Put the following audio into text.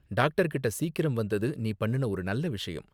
Doctor கிட்ட சீக்கிரம் வந்தது நீ பண்ணுன ஒரு நல்ல விஷயம்.